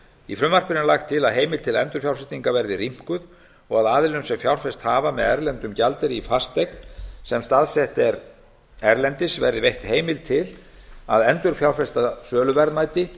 í frumvarpinu er lagt til að heimild til endurfjárfestingar verði rýmkuð og að aðilum sem fjárfest hafa með erlendum gjaldeyri í fasteign sem staðsett er erlendis verði veitt heimild til að endurfjárfesta söluverðmæti